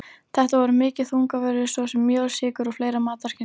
Þetta voru mikið þungavörur, svo sem mjöl, sykur og fleira matarkyns.